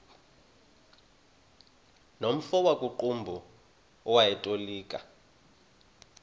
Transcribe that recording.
nomfo wakuqumbu owayetolika